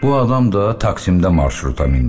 Bu adam da taksimdə marşruta mindi.